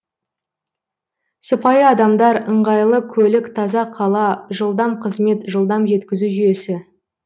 сыпайы адамдар ыңғайлы көлік таза қала жылдам қызмет жылдам жеткізу жүйесі